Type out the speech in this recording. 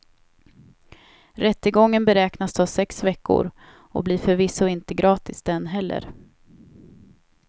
Rättegången beräknas ta sex veckor och blir förvisso inte gratis den heller.